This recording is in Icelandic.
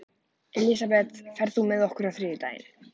Elisabeth, ferð þú með okkur á þriðjudaginn?